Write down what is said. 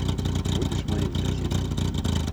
будешь моим соседом